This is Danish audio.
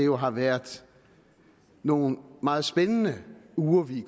jo har været nogle meget spændende uger vi